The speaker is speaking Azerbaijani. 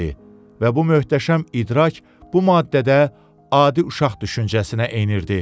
Və bu möhtəşəm idrak bu maddədə adi uşaq düşüncəsinə enirdi.